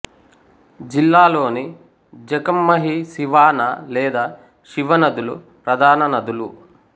జిల్లాలోని జఖం మహి సివానా లేదా శివ నదులు ప్రధాన నదులు